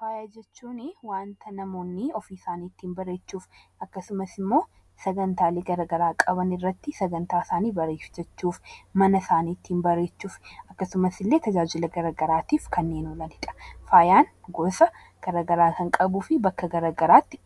Faaya jechuun waanta namoonni ofii isaanii bareechuuf akkasumas immoo sagantaalee garaagaraa qaban irratti sagantaa isaanii bareeffachuuf , mana isaanii ittiin bareechuuf akkasumas illee tajaajila garaagaraatiif fayidaa ni qaba. Faayaan gosa garaagaraa kan qabuu fi bakka garaagaraatti